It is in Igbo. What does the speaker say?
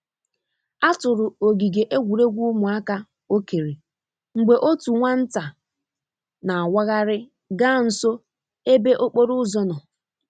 A tụrụ ogige egwuregwu ụmụaka okere mgbe otu nwa nta na awaghari ga nso ebe okporo ụzọ nọ.